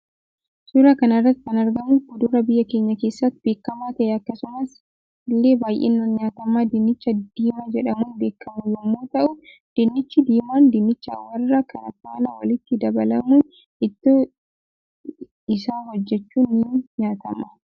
Suuraa kanarratti kan argamu kuduraa biyya keenya keessatti beekama ta'ee akkasumas ille baay'inaan nyaatama dinnicha diimaa jedhamuun beekamu yommuu ta'uu diinnichi diimaan dinnicha warra kaan faana walitti dabalamuun ittoo isa hojjechuun ni nyaatama.